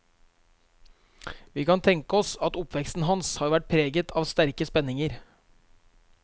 Vi kan tenke oss at oppveksten hans har vært preget av sterke spenninger.